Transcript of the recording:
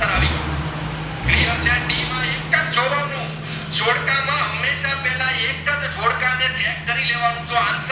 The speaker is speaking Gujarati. એકજ જોડકા ને check કરી લેવાનું જો answer